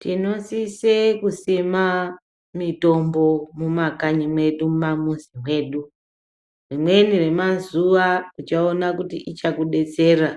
Tinosise kusima mitombo mumakanyi medu mumamuzi mwedu rimweni remazuwa uchaona kuti ichakudetsera